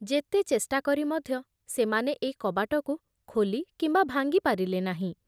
ଯେତେ ଚେଷ୍ଟା କରି ମଧ୍ୟ ସେମାନେ ଏଇ କବାଟକୁ ଖୋଲି କିମ୍ବା ଭାଙ୍ଗି ପାରିଲେ ନାହିଁ ।